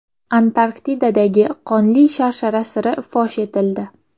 Antarktidadagi Qonli sharshara siri fosh etildi.